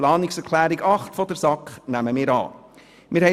Die Planungserklärung 8 der SAK nehmen wir an.